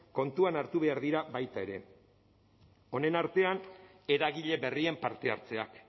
kontuan hartu behar dira baita ere honen artean eragile berrien parte hartzeak